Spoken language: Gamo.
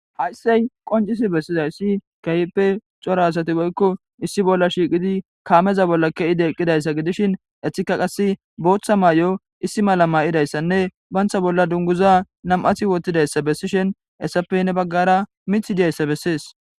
hayssey qoncisi bessizayssi keehppe cora asati boykko issi bolla shiiqidi kaameza bolla keide eqqidayssa gidishin ethika qasse booththa maay7o issi mala maa7idayssanne bantha bolla dunguza nam7athi wotidayssa bessishin hessappe ne baggara mith idiyayssa bessees